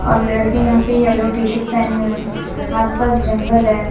और लड़के यहां पे येलो टी शर्ट पहने हुए हैं आस पास जंगल है।